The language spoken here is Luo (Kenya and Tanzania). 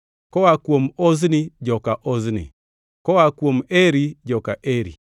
koa kuom Ozni, joka Ozni; koa kuom Eri, joka Eri;